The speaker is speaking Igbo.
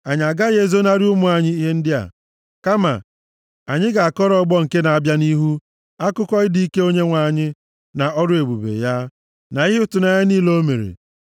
Anyị agaghị ezonarị ụmụ anyị ihe ndị a, kama anyị ga-akọrọ ọgbọ nke na-abịa nʼihu akụkọ ịdị ike Onyenwe anyị, na ọrụ ebube ya, na ihe ịtụnanya niile o mere.